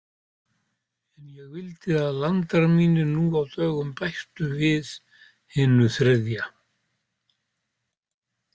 En ég vildi að landar mínir nú á dögum bættu við hinu þriðja.